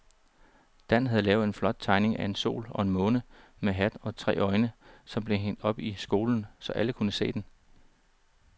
Dan havde lavet en flot tegning af en sol og en måne med hat og tre øjne, som blev hængt op i skolen, så alle kunne se den.